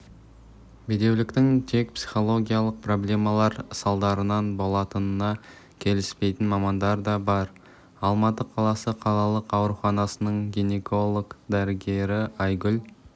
бедеуліктің тек психологиялық проблемалар салдарынан болатынына келіспейтін мамандар да бар алматы қаласы қалалық ауруханасының гинеколог-дәрігері айгүл